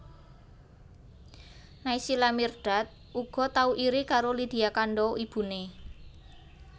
Naysila Mirdad uga tau iri karo Lydia Kandou ibuné